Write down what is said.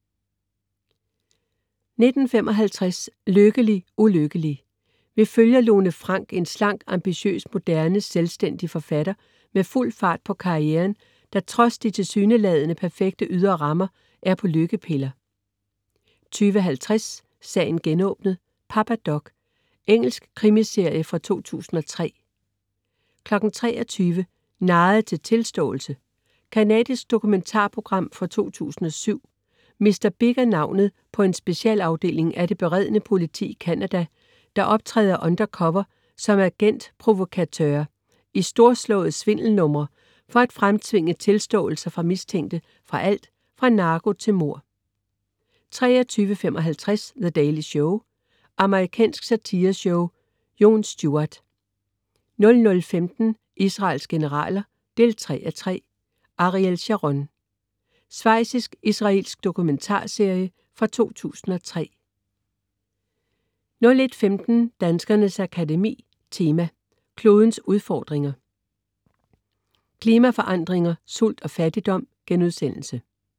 19.55 LykkeligUlykkelig. Vi følger Lone Frank, en slank, ambitiøs, moderne, selvstændig forfatter med fuld fart på karrieren, der trods de tilsyneladende perfekte ydre rammer er på lykkepiller 20.50 Sagen genåbnet: Papa Doc. Engelsk krimiserie fra 2003 23.00 Narret til tilståelse? Canadisk dokumentarprogram fra 2007. Mr. Big er navnet på en specialafdeling af det beredne politi i Canada, der optræder undercover som agent provocateurs i storslåede svindelnumre for at fremtvinge tilståelser fra mistænkte for alt fra narko til mord 23.55 The Daily Show. Amerikansk satireshow. Jon Stewart 00.15 Israels generaler 3:3. Ariel Sharon. Svejtsisk/israelsk dokumentarserie fra 2003 01.15 Danskernes Akademi Tema: Klodens udfordringer. Klimaforandringer, sult og fattigdom*